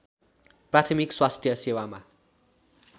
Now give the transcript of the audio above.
प्राथमिक स्वास्थ्य सेवामा